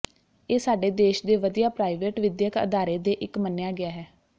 ਇਹ ਸਾਡੇ ਦੇਸ਼ ਦੇ ਵਧੀਆ ਪ੍ਰਾਈਵੇਟ ਵਿਦਿਅਕ ਅਦਾਰੇ ਦੇ ਇੱਕ ਮੰਨਿਆ ਗਿਆ ਹੈ